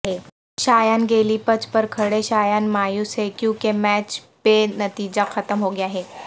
شایان گیلی پچ پر کھڑے شایان مایوس ہیں کیونکہ میچ بے نتیجہ ختم ہوگیا ہے